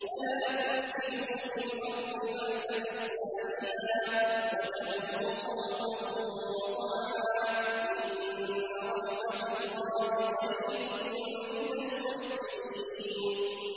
وَلَا تُفْسِدُوا فِي الْأَرْضِ بَعْدَ إِصْلَاحِهَا وَادْعُوهُ خَوْفًا وَطَمَعًا ۚ إِنَّ رَحْمَتَ اللَّهِ قَرِيبٌ مِّنَ الْمُحْسِنِينَ